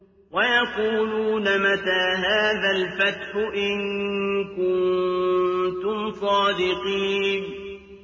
وَيَقُولُونَ مَتَىٰ هَٰذَا الْفَتْحُ إِن كُنتُمْ صَادِقِينَ